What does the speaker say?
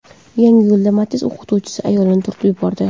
Yangiyo‘lda Matiz o‘qituvchi ayolni urib yubordi.